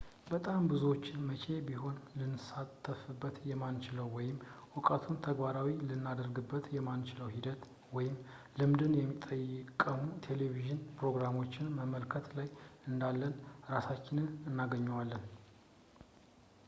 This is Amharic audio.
በጣም ብዙዎቻችን መቼም ቢሆን ልንሳተፍበት የማንችለውን ወይም እውቀቱን ተግባራዊ ልናደርግበት የማንችለውን ሂደትን ወይም ልምድን የሚጠቁሙ የቴሌቭዢን ፕሮግራሞችን በመመልከት ላይ እንዳለን እራሳችንን እናገኘዋለን